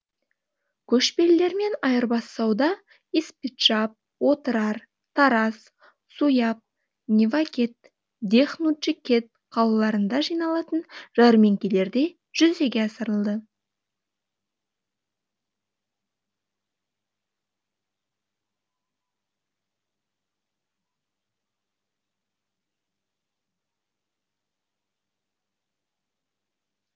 көшпелілермен айырбас сауда испиджаб отырар тараз суяб невакет дех нуджикет қалаларында жиналатын жәрмеңкелерде жүзеге асырылды